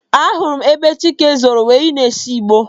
Ahụrụ m ebe Chike zoro wee na-ese igbo.